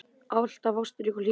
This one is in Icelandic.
Alltaf ástrík og hlý.